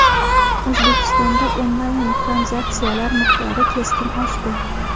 O‘zbekistonda onlayn-tranzaksiyalar miqdori keskin oshdi.